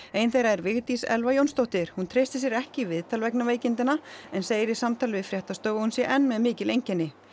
ein þeirra er Vigdís Elfa Jónsdóttir hún treystir sér ekki í viðtal vegna veikindanna en segir í samtali við fréttastofu að hún sé enn með mikil einkenni